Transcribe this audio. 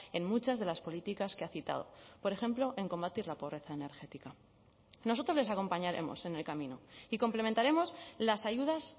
en muchas de las políticas que ha citado por ejemplo en combatir la pobreza energética nosotros les acompañaremos en el camino y complementaremos las ayudas